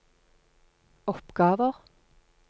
oppgaver